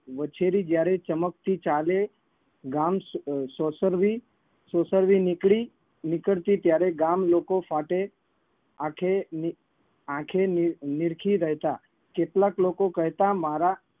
વછેરી જયારે ચમકતી ચાલે ગામ સો સોંસરવી સોંસરવી નીકળી નીકળતી ત્યારે ગામલોકો ફાટે આંખે ની આંખે ની નિરખી રહેતા. કેટલાક લોકો કહેતા મારા